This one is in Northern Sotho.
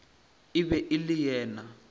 e be e le yena